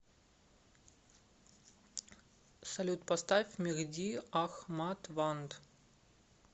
салют поставь мехди ахмадванд